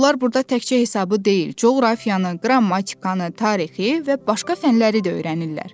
Onlar burda təkcə hesabı deyil, coğrafiyanı, qrammatikanı, tarixi və başqa fənnləri də öyrənirlər.